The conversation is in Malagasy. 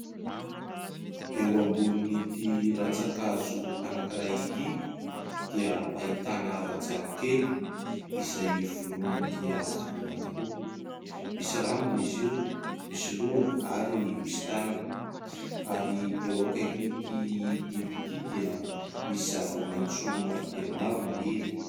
Eo ambonin'ity ratsan-kazo anankiray ity dia ahitana rajako kely, izay voloana dia voloana tokoa, misy rambony izy io, misy lohany ary misy tanana. Ary eo akaikin'ity biby ity dia misy zava-maintso maro dia maro maniry.